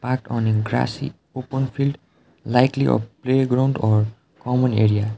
part on a grassy open field likely a playground or common area.